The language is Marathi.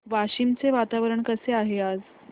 वाशिम चे वातावरण कसे आहे आज